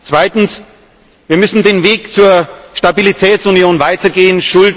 Zweitens Wir müssen den Weg zu einer Stabilitätsunion weitergehen.